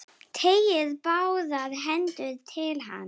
Teygir báðar hendur til hans.